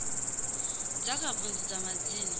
dza kha vundu dza madzina